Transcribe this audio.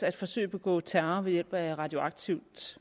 at forsøge at begå terror ved hjælp af radioaktivt